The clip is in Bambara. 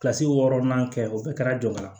Kilasi wɔɔrɔnan kɛ o bɛɛ kɛra jɔ ka na